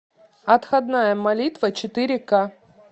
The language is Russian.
отходная молитва четыре ка